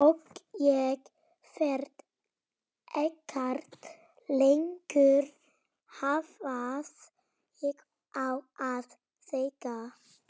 Og ég veit ekkert lengur hvað ég á að segja.